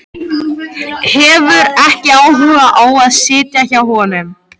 Hefur ekki áhuga á að sitja hjá honum.